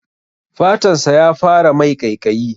Fatan sa ya fara mai ƙaiƙayi.